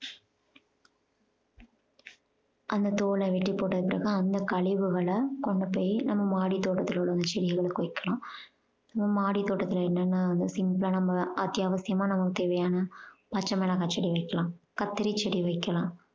அந்தத் தோலை வெட்டி போட்டதுக்கு பிறகு, அந்த கழிவுகளை கொண்டு போயி நம்ம மாடி தோட்டத்துல உள்ள அந்த செடிகளுக்கு வைக்கலாம். நம்ம மாடி தோட்டத்துல என்னென்ன அந்த நம்ம அத்தியாவசியமா நமக்கு தேவையான பச்சை மிளகாய் செடி வைக்கலாம், கத்திரி செடி வைக்கலாம்